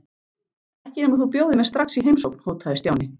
Ekki nema þú bjóðir mér strax í heimsókn hótaði Stjáni.